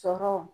Sɔrɔw